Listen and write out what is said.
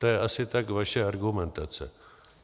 To je tak asi vaše argumentace.